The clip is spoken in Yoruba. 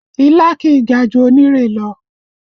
Ilá kì í ga ju onírè lọ